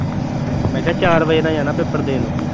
ਮੈਂ ਕਿਹਾ ਚਾਰ ਵਜੇ ਤੱਕ ਜਾਣਾ ਪੇਪਰ ਦੇਣ।